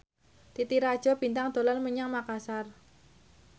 Titi Rajo Bintang dolan menyang Makasar